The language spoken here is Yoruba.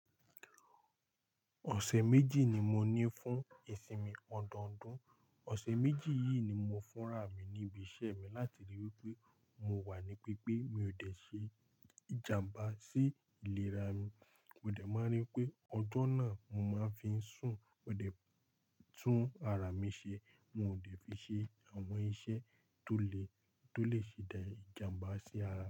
Ọ̀sẹ̀ méjì ni mo ní fún ìsinmi ọdọọdún. Ọ̀sẹ̀ méjì yìí ni mo fúnra mi ní ibi iṣẹ́ mi láti ríi wí pé mo wà ní pípé, mi ò ṣe ìjàmbá sí ìlera mi. Mo dẹ̀ máa n rí pé ọjọ́ náà mo máa ń fi sùn, ó dẹ tún ara mi ṣe, mo ò lè fi ṣe àwọn iṣẹ́ tó lè, tó lè ṣì dá ìjàmbá sí ara mi.